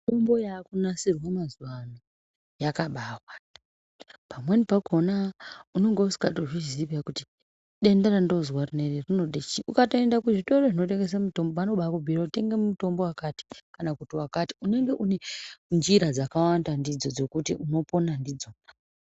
Mitombo yakunasirwa mazuwa ano yakabawanda. Pamweni pakhona unonga usikatozvizii kuti denda randozwa rinode chii. Ukaenda kuzvitoro zvinotengesa mitombo ano bakubhuira kuti tenga mutombo wakati kana kuti wakati. Unenge une njira dzakawanda ndidzo dzekuti unopona ndidzo.